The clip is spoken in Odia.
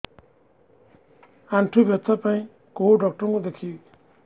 ଆଣ୍ଠୁ ବ୍ୟଥା ପାଇଁ କୋଉ ଡକ୍ଟର ଙ୍କୁ ଦେଖେଇବି